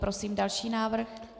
Prosím další návrh.